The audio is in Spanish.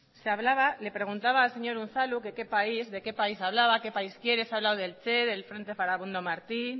se hablaba le preguntaba al señor unzalu que qué país de qué país hablaba que país quiere se ha hablado del che del frente farabundo martí